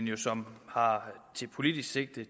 jo som politisk sigte